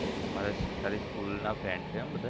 તમારે તારી school ના friend છે એમ બધા?